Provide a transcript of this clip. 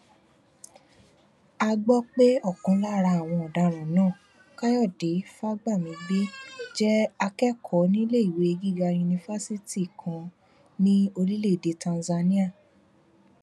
a gbọ pé ọkan lára àwọn ọdaràn náà káyọdé fagbamigbe jẹ akẹkọọ níléèwé gíga yunifásitì kan ní orílẹèdè tanzania